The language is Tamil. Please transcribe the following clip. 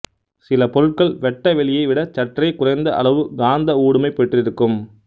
சில பொருட்கள் வெட்ட வெளியை விட சற்றே குறைந்த அளவு காந்த ஊடுமை பெற்றிருக்கும்